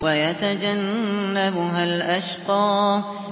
وَيَتَجَنَّبُهَا الْأَشْقَى